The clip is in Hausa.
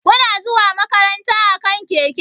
Kuna zuwa makaranta akan keke?